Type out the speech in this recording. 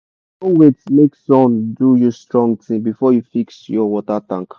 no wait make sun do you strong thing before you fix your water tank.